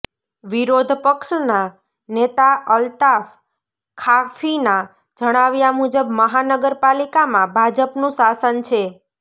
વિરોધ પક્ષના નેતા અલ્તાફ ખાફીના જણાવ્યા મુજબ મહાનગર પાલિકામાં ભાજપનું શાસન છે